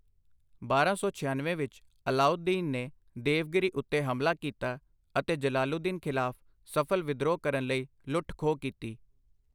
ਬਾਰਾਂ ਸੌ ਛਿਅਨਵੇਂ ਵਿੱਚ ਅਲਾਊਦੀਨ ਨੇ ਦੇਵਗਿਰੀ ਉੱਤੇ ਹਮਲਾ ਕੀਤਾ ਅਤੇ ਜਲਾਲੂਦੀਨ ਖ਼ਿਲਾਫ਼ ਸਫ਼ਲ ਵਿਦਰੋਹ ਕਰਨ ਲਈ ਲੁੱਟ ਖੋਹ ਕੀਤੀ।